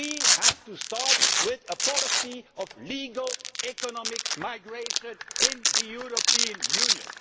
We have to start with a policy of legal economic migration in the European